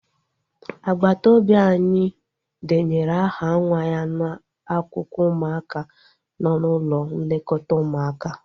Agbata obi anyị denyere aha nwa ya n'akwụkwọ ụmụaka nọ n'ụlọ nlekọta ụmụaka